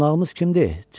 Qonağımız kimdir?